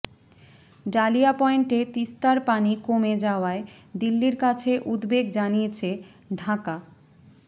dahlia পয়েন্টে তিস্তার পানি কমে যাওয়ায় দিল্লির কাছে উদ্বেগ জানিয়েছে ঢাকা